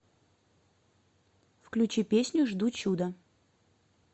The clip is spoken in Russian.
включи песню жду чуда